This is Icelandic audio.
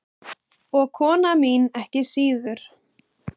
Og kona mín ekki síður.